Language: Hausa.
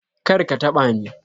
Kar ka taɓa ni!